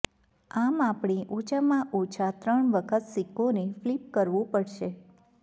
આમ આપણે ઓછામાં ઓછા ત્રણ વખત સિક્કોને ફ્લિપ કરવું પડશે